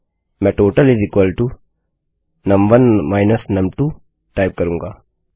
मैं टोटल नुम1 num2टाइप करूँगा